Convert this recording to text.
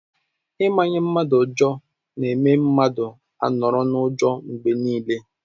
Ị manye mmadụ ụjọ na-eme mmadụ a nọrọ n'ụjọ mgbe niile.